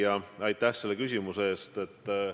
Hea küsija, aitäh selle küsimuse eest!